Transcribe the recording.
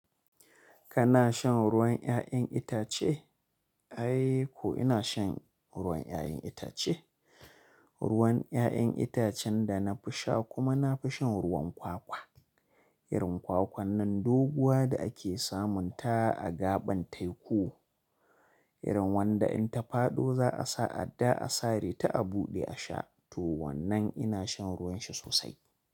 Kana shan ruwan 'ya'yan itace? Ai ko ina shan ruwan ƴaƴan itace. Ruwan ƴaƴan itacen da na fi sha kuma na fi shan ruwan kwakwa. Irin kwakwan nan doguwa da ake samunta a gaɓan teku. Irin wanda in ta faɗo za a sa adda a sare ta a buɗe a sha. To wannan ina shan ruwan shi sosai.